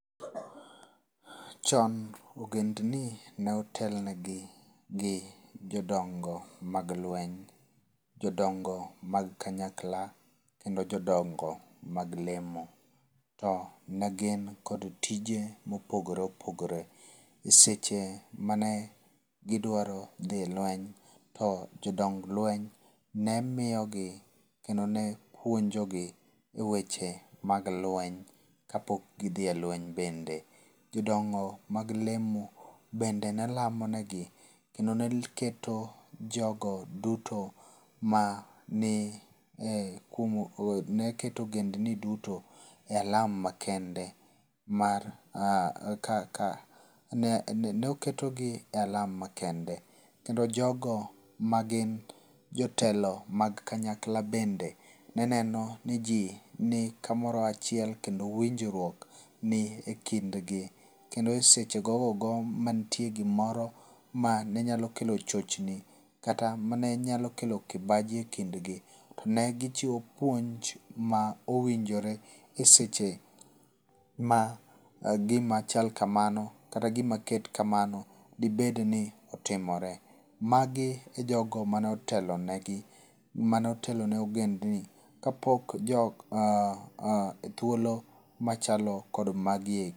Chon ogendni ne otelnegi gi jodongo mag lweny, Jodongo mag kanyakla, kendo jodongo mag lemo. To negin kod tije mopogore opogore. Eseche mane gidwaro dhi e lweny to jodong lweny ne miyogi kendo ne pwonjogi e weche mag lweny kapok gidhi e lweny bende. Jodongo mag lemo bende ne lamo negi kendo ne keto jogo duto mane e ne keto ogendni duto e alam makende ma kak ne oketogi e alam makende kendo jogo magin jotelo mag kanyakla bende ne neno ni ji ni kamoro achiel kendo winjruok ni e kind gi. Kendo e seche gogogo manitiere gimoro ma ne nyalo kelo chochni kata mane nyalo kelo kibaji e kindgi ne gichiwo puonj ma owinjore e seche ma gimachal kamano kata gima ket kamano dibed ni otimore. Magi e jogo mane otelonegi mane otelone ogendgi ka pok thuolo machalo kod magi e.